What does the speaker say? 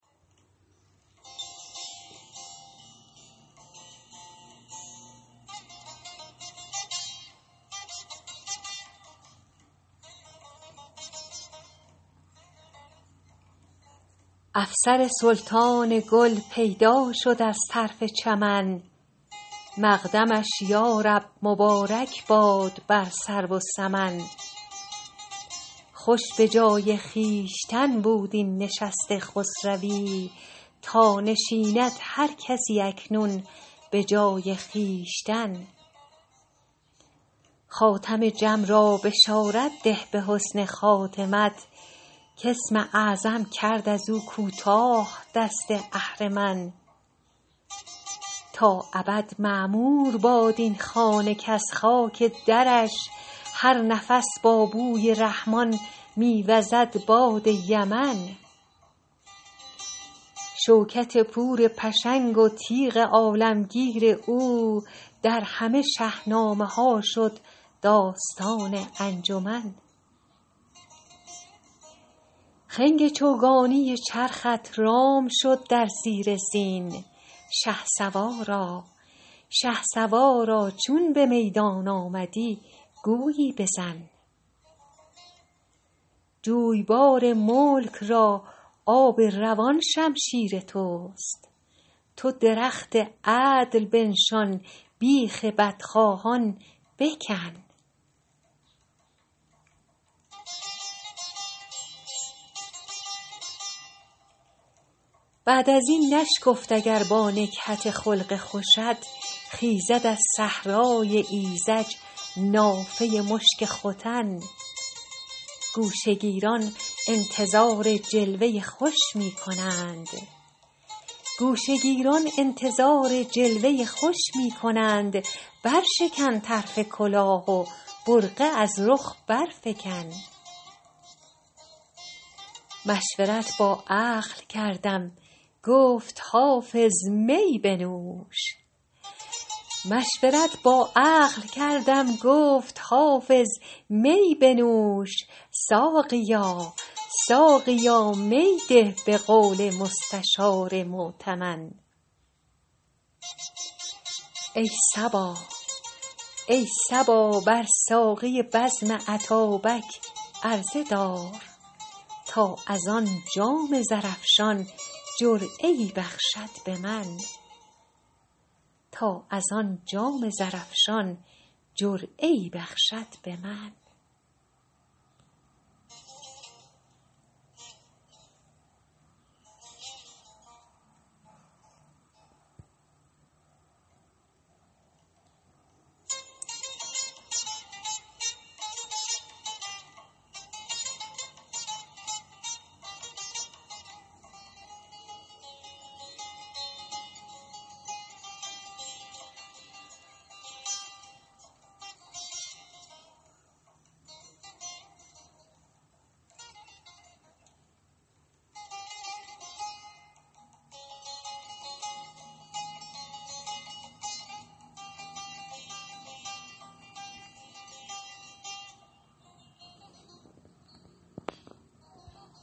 افسر سلطان گل پیدا شد از طرف چمن مقدمش یا رب مبارک باد بر سرو و سمن خوش به جای خویشتن بود این نشست خسروی تا نشیند هر کسی اکنون به جای خویشتن خاتم جم را بشارت ده به حسن خاتمت کاسم اعظم کرد از او کوتاه دست اهرمن تا ابد معمور باد این خانه کز خاک درش هر نفس با بوی رحمان می وزد باد یمن شوکت پور پشنگ و تیغ عالمگیر او در همه شهنامه ها شد داستان انجمن خنگ چوگانی چرخت رام شد در زیر زین شهسوارا چون به میدان آمدی گویی بزن جویبار ملک را آب روان شمشیر توست تو درخت عدل بنشان بیخ بدخواهان بکن بعد از این نشگفت اگر با نکهت خلق خوشت خیزد از صحرای ایذج نافه مشک ختن گوشه گیران انتظار جلوه خوش می کنند برشکن طرف کلاه و برقع از رخ برفکن مشورت با عقل کردم گفت حافظ می بنوش ساقیا می ده به قول مستشار مؤتمن ای صبا بر ساقی بزم اتابک عرضه دار تا از آن جام زرافشان جرعه ای بخشد به من